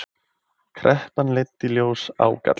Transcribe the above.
Kreppan leiddi í ljós ágalla